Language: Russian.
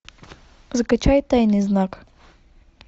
закачай тайный знак